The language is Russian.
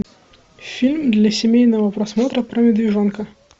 фильм для семейного просмотра про медвежонка